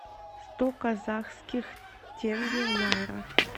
сто казахских тенге в найрах